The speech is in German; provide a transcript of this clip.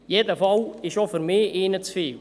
Jeder Fall ist auch für mich ein Fall zu viel.